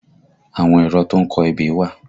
Àwọn èrọ tó ń kọ ebè wà